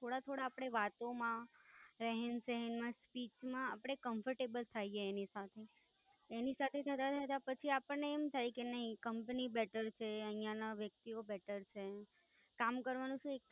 થોડા થોડા અપણે વાતો માં, રહેંમાં સહન માં speech માં આપણે comfortable થઈએ એની સાથે. એની સાથે થતા થતા આપણે એમ થઇ કે નાઈ કંપની બેટર છે, ઐયાના વ્યક્તિઓ better છે, કામ કરવાનું સુ એક